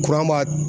Kuran b'a